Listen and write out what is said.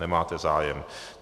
Nemáte zájem.